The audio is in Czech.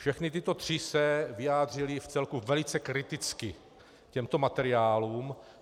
Všechny tyto tři se vyjádřily vcelku velice kriticky k těmto materiálům.